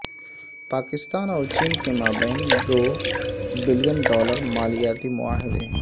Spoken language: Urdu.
پاکستان اور چین کے مابین دو بلین ڈالر مالیتی معاہدے